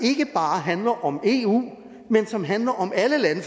ikke bare handler om eu men som handler om alle lande